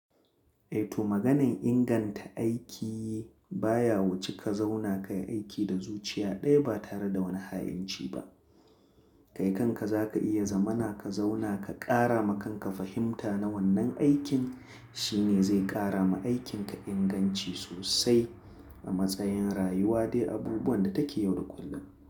Eh to maganar inganta aiki baya wuce ka zauna kayi aiki da zuciya ɗaya ba tare da wani hainci ba. Kai kanka zaka iya zamana ka zauna ka ƙara ma kanka fahimta na wannan aikin shine zai ƙara ma aikin ka inganci sosai a matsayin rayuwa dai abubuwan da take yau da kullum.